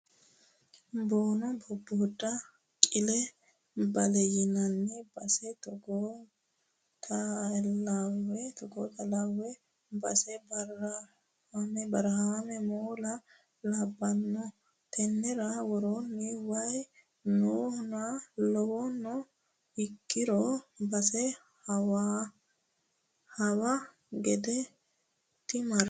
Boono bobboda qile bale yinanni base togootellawe base barahame moola labbano tenera worooni waayi noohano lawano ikkirono base hawa gede dimarranite.